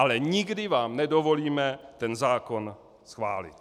Ale nikdy vám nedovolíme ten zákon schválit.